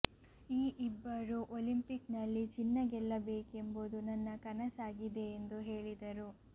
ಈ ಇಬ್ಬರೂ ಒಲಿಂಪಿಕ್ನಲ್ಲಿ ಚಿನ್ನ ಗೆಲ್ಲಬೇಕೆಂಬುದು ನನ್ನ ಕನಸಾಗಿದೆ ಎಂದು ಹೇಳಿದರು